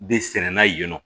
Bɛ sɛnɛnna yen nɔ